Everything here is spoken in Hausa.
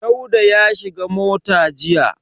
Dauda ya shiga mota jiya.